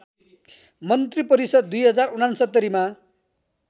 मन्त्रीपरिषद् २०६९ मा